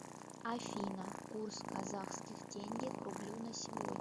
афина курс казахских тенге к рублю на сегодня